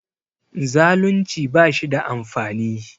Zaalunci ba shi da amfani